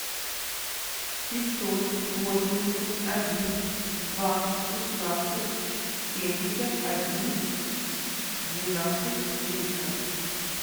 пятьсот восемьдесят один два шестнадцать семьдесят один двенадцать триста